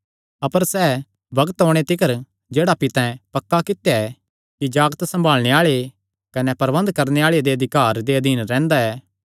अपर सैह़ बग्त ओणे तिकर जेह्ड़ा पितैं पक्का कित्या ऐ कि जागत सम्भाल़णे आल़े कने प्रबन्ध करणे आल़े दे अधिकार दे अधीन रैंह्दा ऐ